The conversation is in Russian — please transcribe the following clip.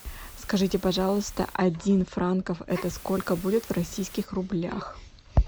скажите пожалуйста один франк это сколько будет в российских рублях